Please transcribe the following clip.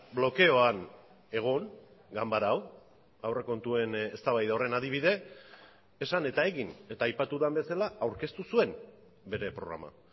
blokeoan egon ganbara hau aurrekontuen eztabaida horren adibide esan eta egin eta aipatu den bezala aurkeztu zuen bere programa